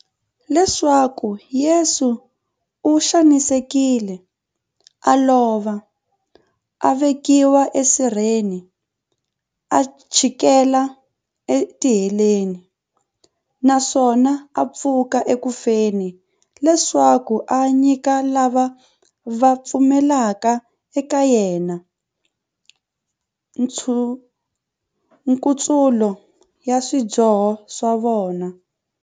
Leswaku Yesu u xanisekile, a lova, a vekiwa e sirheni, a chikela e tiheleni, naswona a pfuka eku feni, leswaku a nyika lava va pfumelaka eka yena, nkutsulo wa swidyoho swa vona.